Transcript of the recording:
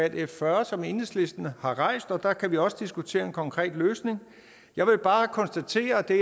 f fyrre som enhedslisten har rejst og der kan vi også diskutere en konkret løsning jeg vil bare konstatere at det